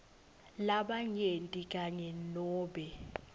labanyenti kanye nobe